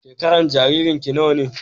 Shekaran jaririn ki nawa ne?